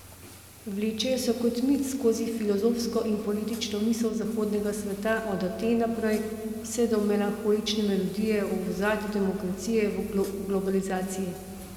Vlečejo se kot mit skozi filozofsko in politično misel zahodnega sveta od Aten naprej vse do melanholične melodije v ozadju demokracije v globalizaciji.